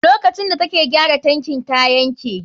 Lokacin da take gyara tankin ta yanke?